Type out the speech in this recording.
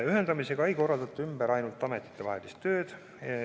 Ühendamisega ei korraldata ümber ainult ametitevahelist tööd.